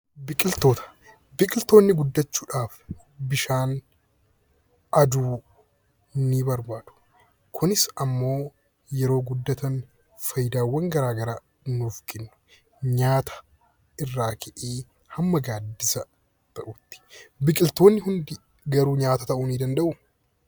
Biqiltoonni guddachuudhaaf bishaanii fi aduu ni barbaadu. Kunis immoo yeroo guddatan faayidaawwan garaa garaa nuuf kennu; nyaata irraa ka'ee hamma gaaddisa ta'uuttidha. Biqiltoonni hundi garuu nyaata ta'uu ni danda'u?